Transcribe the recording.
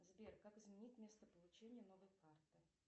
сбер как изменить место получения новой карты